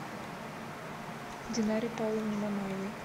динаре павловне мамаевой